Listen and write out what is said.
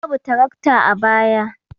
Babu tarakta a baya.